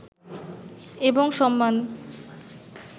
এবং সম্মান